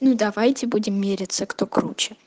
ну давайте будем мериться кто круче